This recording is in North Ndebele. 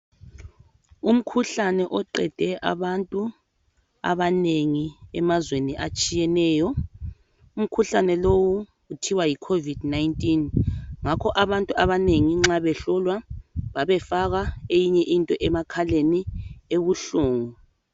Umkhuhlane oqede abantu abanengi emazweni atshiyeneyo. Umkhuhlane lowu kuthiwa yikhovidi nayinitini. Ngakho abantu abanengi nxa behlolwa babefakwa eyinye into emakhaleni ebuhlungu.